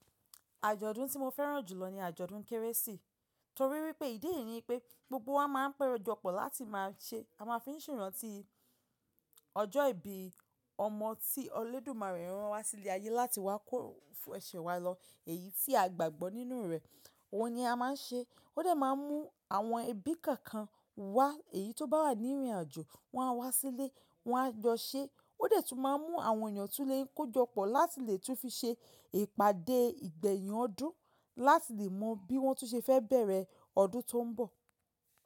Àjọ̀dún tí mo fẹ́ràn jùlọ ni àjọ̀dún kérésì. Torí wípé ìdí è yí ni pé gbogbo wa máa ń pẹ́rọ̀ jọ pọ̀ láti máa ṣe, a máa fi ń ṣe rántí ọjọ́ ìbí ọmọ tí Ọlọ́dùmarè rán wa sí ilé ayé láti wá kọ́ ẹsẹ̀ wa lọ èyí tí a gbàgbọ́ nínú rẹ̀. Ohun ni a máa ń ṣe. Ó dẹ̀ máa ń mú àwọn ẹbí kọ̀ọ̀kan wá, èyí tó bá wà ní ìrìnàjò wọ́n á wá sílé, wọ́n á jọ ṣe. Ó dẹ̀ tún máa ń mú àwọn èèyàn tún lé kó jọ́pọ̀ láti lè tún fi ṣe ìpàdé ìgbẹ̀yìn ọdún láti lè mọ bí wọ́n tún ṣe fẹ́ bẹ̀rẹ̀ ọdún tó ń bọ̀.